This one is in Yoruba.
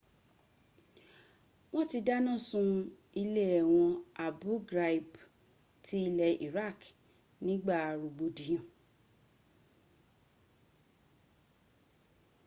wọ́n ti dánilá sun ilé ẹ̀wọ̀n abu ghraib ti ilẹ̀ iraq nígba rọ̀gbọ̀dìyàn